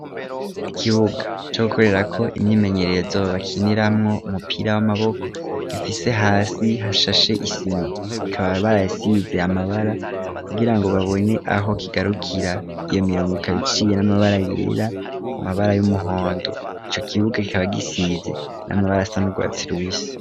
Ikibuga cyo gukorera ko imyimenyerezo bakiniramwo umupira w'amaboko gifise hasi hashashe isima ikaba barayisize amabara kugirango babone aho kigarukira iyo mirongo ikabiciye n'amabara yera amabara y'umuhondo icyo kibuga ikaba gisize n'amabara asa n'ugwatsi rubisi.